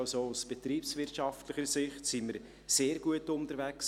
Aus betriebswirtschaftlicher Sicht sind wir also sehr gut unterwegs.